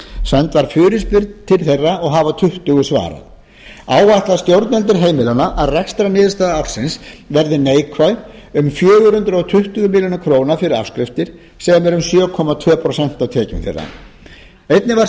send var fyrirspurn til þeirra og hafa tuttugu svarað áætla stjórnendur heimilanna að rekstrarniðurstaða ársins verði neikvæð um fjögur hundruð tuttugu milljónir króna fyrir afskriftir sem er um sjö komma tvö prósent af tekjum þeirra einnig var